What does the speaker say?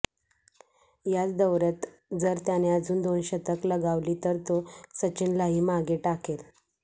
याच दौऱ्यात जर त्याने अजून दोन शतक लगावली तर तो सचिनलाही मागे टाकेल